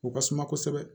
O ka suma kosɛbɛ